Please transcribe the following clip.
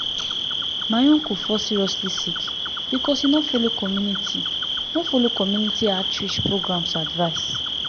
my uncle fall seriously sick because he no follow community no follow community outreach programs advice.